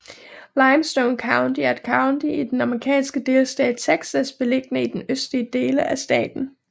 Limestone County er et county i den amerikanske delstat Texas beliggende i den østlige dele af staten